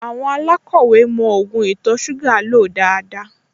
Àwọn alákọ̀wẹ́ mọ ògùn ìtọ̀-ṣúgà lò dáadáa